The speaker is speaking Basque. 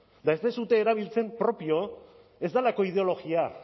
eta ez duzue erabiltzen propio ez delako ideologia